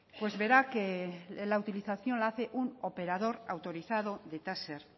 pues verá que la utilización la hace un operador autorizado de taser